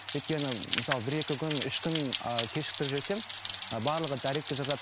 өйткені мысалы бір екі күн үш күн ааа кешіктіріп жіберсем ы барлығы дайректке жазады